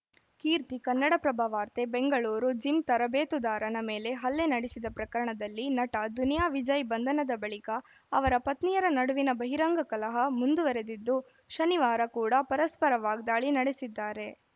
ಕೀರ್ತಿ ಕನ್ನಡಪ್ರಭ ವಾರ್ತೆ ಬೆಂಗಳೂರು ಜಿಮ್‌ ತರಬೇತುದಾರನ ಮೇಲೆ ಹಲ್ಲೆ ನಡೆಸಿದ ಪ್ರಕರಣದಲ್ಲಿ ನಟ ದುನಿಯಾ ವಿಜಯ್‌ ಬಂಧನದ ಬಳಿಕ ಅವರ ಪತ್ನಿಯರ ನಡುವಿನ ಬಹಿರಂಗ ಕಲಹ ಮುಂದುವರೆದಿದ್ದು ಶನಿವಾರ ಕೂಡಾ ಪರಸ್ಪರ ವಾಗ್ದಾಳಿ ನಡೆಸಿದ್ದಾರೆ